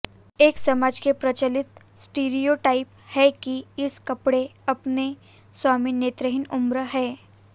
एक समाज के प्रचलित स्टीरियोटाइप है कि इस कपड़े अपने स्वामी नेत्रहीन उम्र है